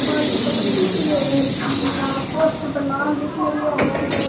कालो सो की दिख रियो है पोस्टर पर नाम लिख मेल्या है।